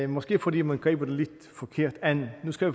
måske fordi man griber det lidt forkert an nu skal